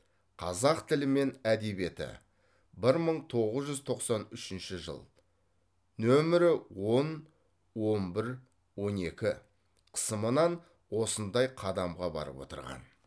қазақ тілі мен әдебиеті бір мың тоғыз жүз тоқсан үшінші жыл нөмірі он он бір он екі қысымынан осындай қадамға барып отырған